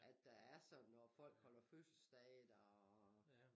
At der er sådan når folk holder fødseldag der